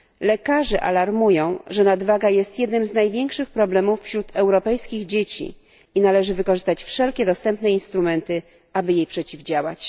Lekarze alarmują, że nadwaga jest jednym z największych problemów wśród europejskich dzieci, należy więc wykorzystać wszelkie dostępne instrumenty, aby jej przeciwdziałać.